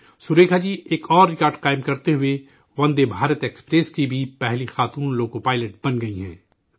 سریکھا جی، ایک اور ریکارڈ بناتے ہوئے وندے بھارت ایکسپریس کی بھی پہلی خاتون لوکو پائلٹ بن گئی ہیں